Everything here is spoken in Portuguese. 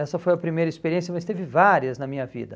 Essa foi a primeira experiência, mas teve várias na minha vida.